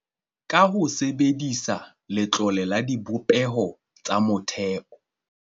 Ka ho sebedisa Letlole la Dibopeho tsa Motheo